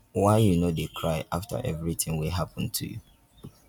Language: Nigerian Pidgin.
why you no dey cry after everything wey happen to you?